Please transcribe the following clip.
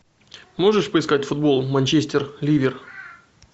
можешь поискать футбол манчестер ливер